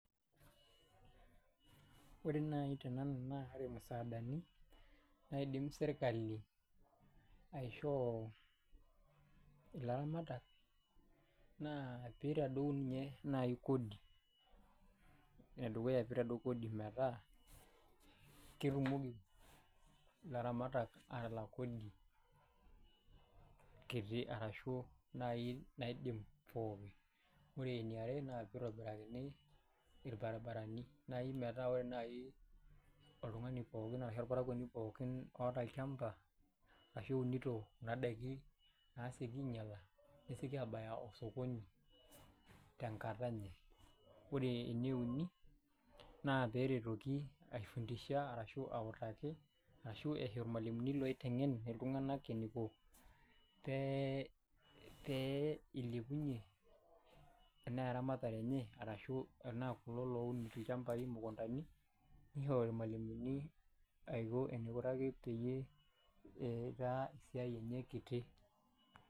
Wore naai tenanu naa wore imusaadani naidim serkali aishoo ilaramatak, naa piitadou ninye nai kodi enedukuya piitadou kodi metaa, ketumoki ilaramatak aatalak kodi kiti arashu naai naidim pookin. Wore eniare naa pee itobirakini ilbarabarani. Nai metaa wore nai oltungani pookin arashu olparakuoni pookin ooata olchamba ashu ounito kuna daikin naasieki ainyiala, nesieki aabaya osokoni tenkata enye. Wore eneuni, naa peeretoki aifundisha arashu autaki arashu isho ilmalimuni oitengen iltunganak eniko pee ilepunyie enaa eramatare enye arashu ena kulo loun ilchambai imukundani. Nishori ilmalimuni aiko enaikunaki peyie eitaa esiai enye kiti.